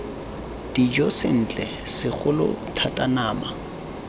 dijo sentle segolo thata nama